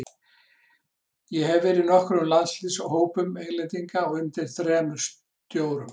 Ég hef verið í nokkrum landsliðshópum Englendinga og undir þremur stjórum.